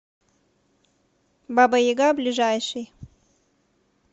баба яга ближайший